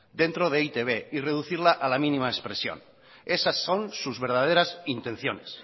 dentro de e i te be y reducirla a la mínima expresión esas son sus verdaderas intenciones